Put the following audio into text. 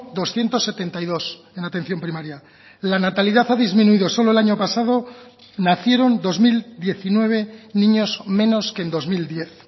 doscientos setenta y dos en atención primaria la natalidad ha disminuido solo el año pasado nacieron dos mil diecinueve niños menos que en dos mil diez